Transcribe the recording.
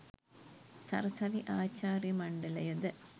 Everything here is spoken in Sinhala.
සරසවි ආචාර්ය මණ්ඩලයද